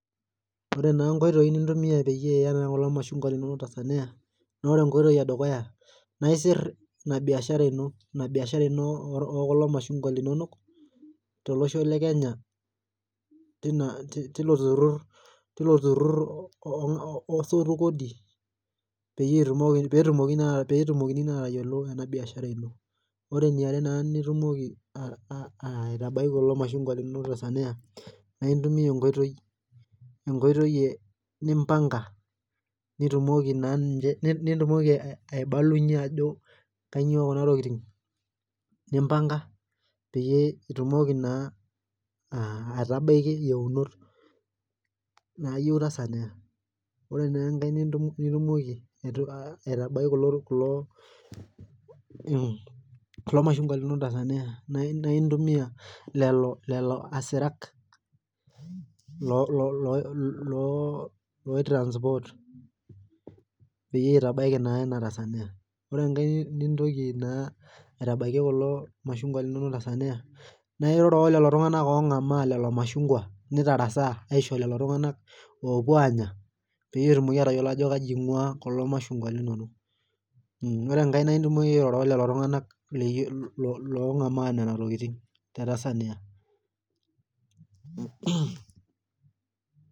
Ore naa nkoitoi nintumia pee iya kulo mashungua linonok tasania. naa ore enkoitoi edukuya naa isir, Ina biashara ino. ina biashara ino oo kulo mashungua linonok. tolosho le Kenya, teilo tururur. Osotu Kodi, peyie itumoki, naa atayiolo ena biashara ino. ore eniare naa nitumoki aitabai kulo mashungua kimono tasania. naa intumia enkoitoi .nimepanga, nitumoki aibalunye ajo, kainyioo kuna tokitin nimpa, peyie, itumoki naa aitabiki iyieunot, naayieu tasania. ore naa enkae nitumoki, kulo mashungua linoono naa intumia, lelo asirak loo loi transport peyie, itabaiki naa Ina tansani. ore enkae nintoki aitabaiki kulo mashungua linoono tamsania. naa iroro olelo tunganak ongamaa lelo mashungua, nintarasaa aisho lelo tunganak oopuo, aanya. peyie etumoki atayiolo ajo kaji ing'ua kulo mashungua linoono. ore enkae, Nena tokitin te Tanzania.